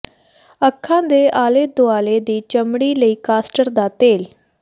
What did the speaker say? ਅੱਖਾਂ ਦੇ ਆਲੇ ਦੁਆਲੇ ਦੀ ਚਮੜੀ ਲਈ ਕਾਸਟਰ ਦਾ ਤੇਲ